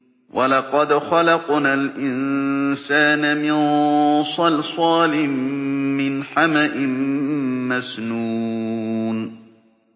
وَلَقَدْ خَلَقْنَا الْإِنسَانَ مِن صَلْصَالٍ مِّنْ حَمَإٍ مَّسْنُونٍ